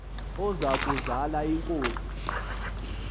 oza kuzal inkosi